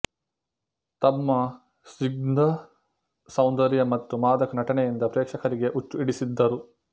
ತಮ್ಮ ಸ್ನಿಗ್ಧ ಸೌಂದರ್ಯ ಮತ್ತು ಮಾದಕ ನಟನೆಯಿಂದ ಪ್ರೇಕ್ಷಕರಿಗೆ ಹುಚ್ಚು ಹಿಡಿಸಿದ್ದರು